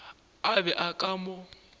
a be a ka mo